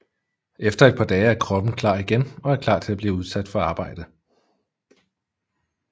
Efter et par dage er kroppen klar igen og er klar til at blive udsat for arbejde